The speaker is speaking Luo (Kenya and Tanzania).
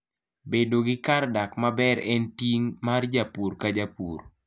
Bedo gi kar dak maber en ting' mar japur ka japur.